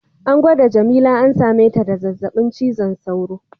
An gwada jamila an same ta da zazzabin cizon sauro.